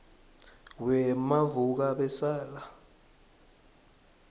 wemavukabesala